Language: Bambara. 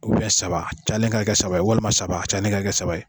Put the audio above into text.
U bɛɛ saba ca nin ka kɛ saba ye walima saba ca nin ka kɛ saba ye